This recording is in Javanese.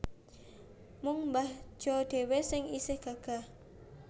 Mung mbah Jo dhewe sing isih gagah